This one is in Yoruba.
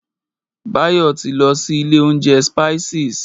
Báyọ̀ ti lọ sí ilé oúnjẹ Spices.